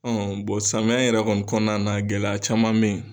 Ɔ samiyɛ yɛrɛ kɔni kɔnɔna na gɛlɛya caman bɛ yen